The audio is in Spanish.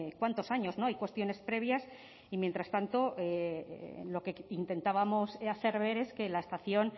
cuántos años no hay cuestiones previas y mientras tanto lo que intentábamos hacer ver es que la estación